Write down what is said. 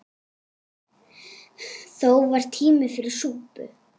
Þó var tími fyrir súpu.